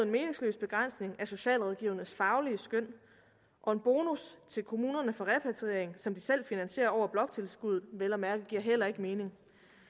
meningsløs begrænsning af socialrådgivernes faglige skøn og en bonus til kommunerne for repatriering som de selv finansierer over bloktilskuddet vel at mærke giver heller ikke mening